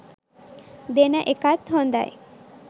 දෙන එකත් හොඳයි.